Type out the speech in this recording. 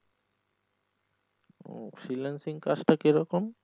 freelanceing কাজটা কিরকম?